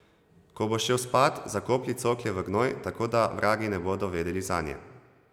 Ko boš šel spat, zakoplji cokle v gnoj, tako da vragi ne bodo vedeli zanje.